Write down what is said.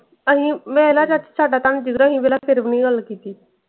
ਅਹੀ ਮੈਂ ਨਾ ਚਾਚੀ, ਸਾਦਾ ਤੰਗ ਅਸੀ ਫੇਰ ਵੀ ਨੀ ਗੱਲ ਕੀਤੀ।